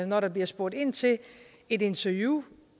når der bliver spurgt ind til et interview